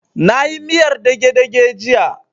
Na yi miyar dage-dage jiya